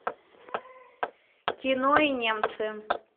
кино и немцы